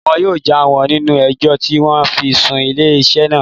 Wọn yóò já wọ́ nínú ẹjọ́ tí wọ́n fi sún ilé iṣẹ́ naa